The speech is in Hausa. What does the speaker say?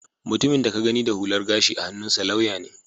Mutumin da ka gani da hular gashi a hannunsa lauya ne